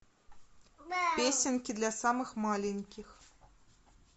песенки для самых маленьких